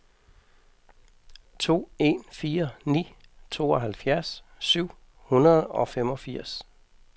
to en fire ni tooghalvfjerds syv hundrede og femogfirs